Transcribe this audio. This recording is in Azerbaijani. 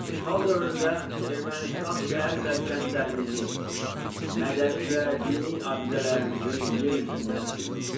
İşğal dövründə Ermənistan şəhər və kəndlərimizi, mədəni və dini abidələrimizi yer üzündən silmişdir.